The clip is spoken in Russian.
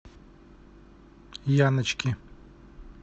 яночки